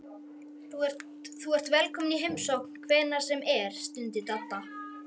Þú ert velkominn í heimsókn hvenær sem er stundi Dadda.